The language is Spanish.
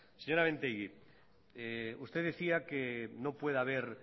señora mintegi usted decía que no puede haber